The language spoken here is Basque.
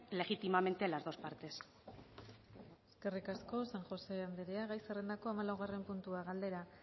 legítimamente las dos partes eskerrik asko san josé andrea gai zerrendako hamalaugarren puntua galdera